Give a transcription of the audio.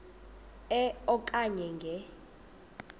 e okanye nge